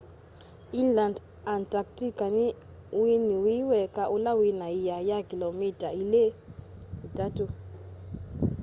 inland antarctica ni uinyi wi weka ula wina ĩa ya kilomita 2-3